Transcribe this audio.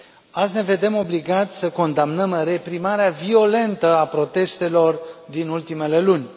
Azi ne vedem obligați să condamnăm reprimarea violentă a protestelor din ultimele luni.